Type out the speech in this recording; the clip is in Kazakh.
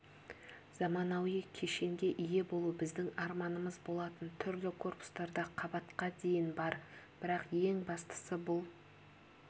заманауи кешенге ие болу біздің арманымыз болатын түрлі корпустарда қабатқа дейін бар бірақ ең бастысы бұл